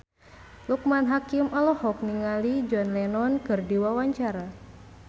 Loekman Hakim olohok ningali John Lennon keur diwawancara